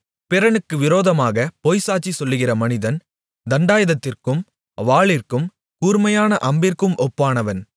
பிறனுக்கு விரோதமாகப் பொய்சாட்சி சொல்லுகிற மனிதன் தண்டாயுதத்திற்கும் வாளிற்கும் கூர்மையான அம்பிற்கும் ஒப்பானவன்